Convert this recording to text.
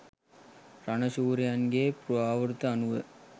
රණ ශූරයන්ගේ පුරාවෘත්ත අනුව